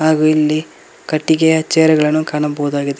ಹಾಗೂ ಇಲ್ಲಿ ಕಟ್ಟಿಗೆಯ ಚೇರ್ ಗಳನ್ನು ಕಾಣಬಹುದಾಗಿದೆ.